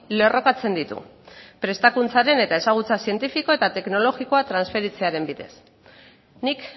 lerrokatzen ditu prestakuntzaren eta ezagutza zientifiko eta teknologikoa transferitzearen bidez nik